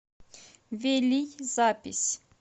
велий запись